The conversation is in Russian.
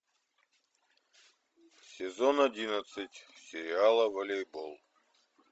сезон одиннадцать сериала волейбол